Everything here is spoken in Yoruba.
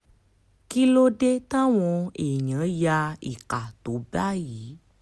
kí ló dé táwọn èèyàn ya ìka tó báyìí